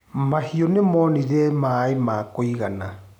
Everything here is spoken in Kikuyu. Mahiũ nĩmonire maĩ ma kũigana.